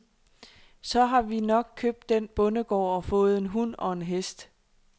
Så har vi nok købt den bondegård og fået en hund og en hest.